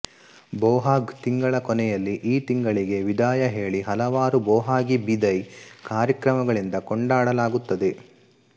ಬೊಹಾಗ್ ತಿಂಗಳ ಕೊನೆಯಲ್ಲಿ ಈ ತಿಂಗಳಿಗೆ ವಿದಾಯ ಹೇಳಿ ಹಲವಾರು ಬೊಹಾಗಿ ಬಿದೈ ಕಾರ್ಯಕ್ರಮಗಳಿಂದ ಕೊಂಡಾಡಲಾಗುತ್ತದೆ